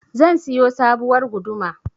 zan siyo sabuwar guduma